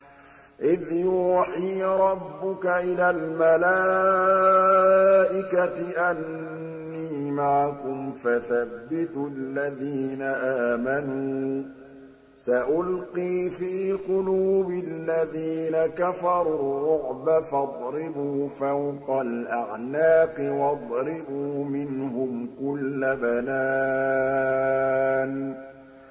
إِذْ يُوحِي رَبُّكَ إِلَى الْمَلَائِكَةِ أَنِّي مَعَكُمْ فَثَبِّتُوا الَّذِينَ آمَنُوا ۚ سَأُلْقِي فِي قُلُوبِ الَّذِينَ كَفَرُوا الرُّعْبَ فَاضْرِبُوا فَوْقَ الْأَعْنَاقِ وَاضْرِبُوا مِنْهُمْ كُلَّ بَنَانٍ